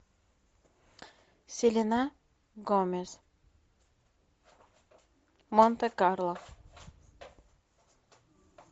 селена гомес монте карло